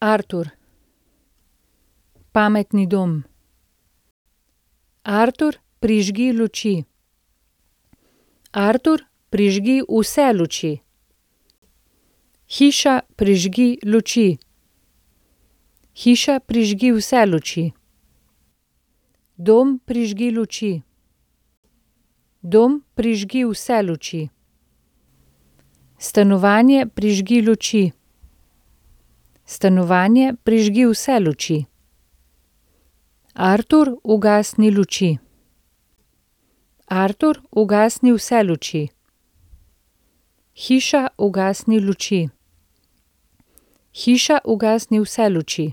Artur. Pametni dom. Artur, prižgi luči. Artur, prižgi vse luči. Hiša, prižgi luči. Hiša, prižgi vse luči. Dom, prižgi luči. Dom, prižgi vse luči. Stanovanje, prižgi luči. Stanovanje, prižgi vse luči. Artur, ugasni luči. Artur, ugasni vse luči. Hiša, ugasni luči. Hiša, ugasni vse luči.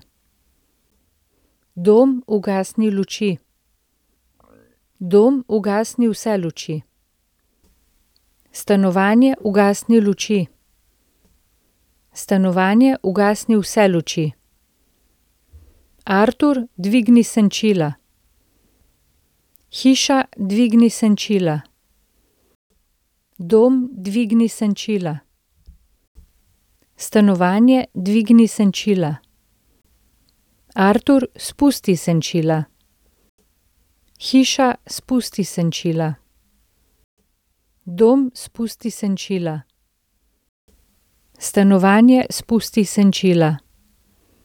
Dom, ugasni luči. Dom, ugasni vse luči. Stanovanje, ugasni luči. Stanovanje, ugasni vse luči. Artur, dvigni senčila. Hiša, dvigni senčila. Dom, dvigni senčila. Stanovanje, dvigni senčila. Artur, spusti senčila. Hiša, spusti senčila. Dom, spusti senčila. Stanovanje, spusti senčila.